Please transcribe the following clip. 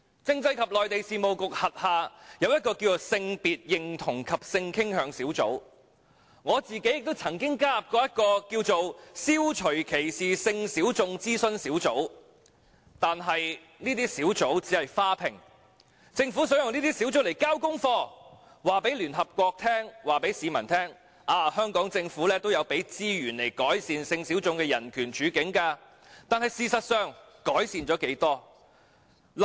政制及內地事務局轄下有性別認同及性傾向小組，我自己亦曾加入消除歧視性小眾諮詢小組，但這些小組只是"花瓶"，政府想以這些小組來"交功課"，告訴聯合國和市民，香港政府也有撥出資源改善性小眾的人權處境，但事實上，改善了多少？